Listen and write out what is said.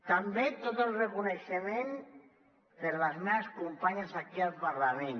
també tot el reconeixement per a les meves companyes aquí al parlament